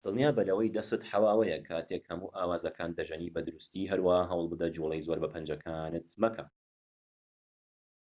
دڵنیابە لەوەی دەستت حەواوەیە کاتێك هەموو ئاوازەکان دەژەنیت بە دروستی هەروەها هەوڵبدە جوڵەی زۆر بە پەنجەکانت مەکە